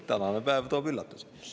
Tänane päev toob üllatusi.